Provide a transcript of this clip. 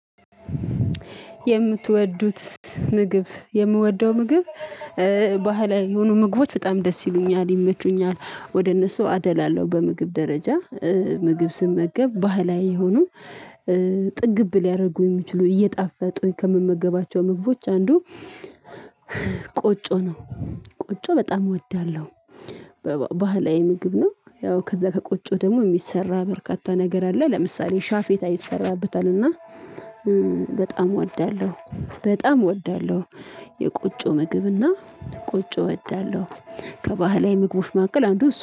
የምትወዱት ምግብ የምወደው ምግብ ባህላዊ የሆኑ ምግቦች በጣም ደስ ይሉኛል፤ ይመቹኛል፤ ወደ እነሱ አደላለሁ በምግብ ደረጃ ምግብ ስመገብ ባህላዊ የሆኑ ጥግብ ሊያደርጉ የሚችሉ እየጣፈጡ ከምመገባቸው ምግቦች አንዱ ቆጮ ነው። ቆጮ በጣም እወዳለሁ ባህላዊ ምግብ ነው ያው ከዛ ከቆጮው ደግሞ የሚሰራ በርካታ ነገር አለ ለምሳሌ ሻፌታ ይሰራበታል እና በጣም እወዳለሁ፤ በጣም እወዳለሁ የቆጮ ምግብና ቆጮ እወዳለሁ ምግቦች ማቀል አንዱ